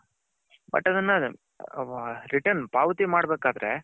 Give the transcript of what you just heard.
but ಅದನ್ನ return ಪಾವತಿ ಮಾಡ್ಬೇಕ್ ಆದ್ರೆ .